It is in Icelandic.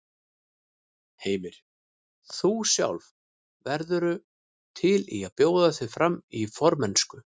Heimir: Þú sjálf, værirðu til í að bjóða þig fram til formennsku?